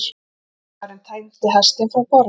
Lögmaðurinn teymdi hestinn frá borði.